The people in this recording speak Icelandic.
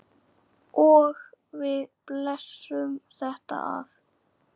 Og við blésum þetta af.